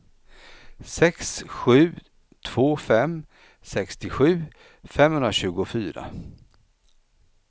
sex sju två fem sextiosju femhundratjugofyra